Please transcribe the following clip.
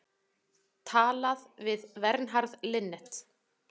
Talað við Vernharð Linnet.